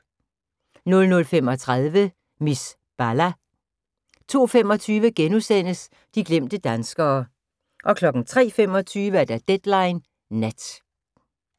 00:35: Miss Bala 02:25: De glemte danskere * 03:25: Deadline Nat